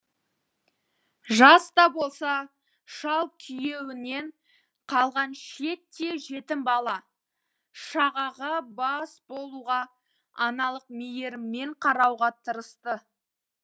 жас та болса шал күйеуінен қалған шиеттей жетім бала шағаға бас болуға аналық мейіріммен қарауға тырысты